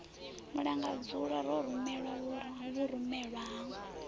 mulangadzulo ro ramba vhurumelwa ha